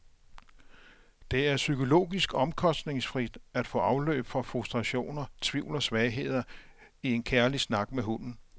Det er psykologisk omkostningsfrit at få afløb for frustrationer, tvivl og svagheder i en kærlig snak med hunden.